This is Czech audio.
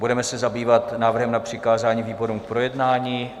Budeme se zabývat návrhem na přikázání výborům k projednání.